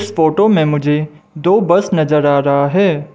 इस फोटो में मुझे दो बस नजर आ रहा है।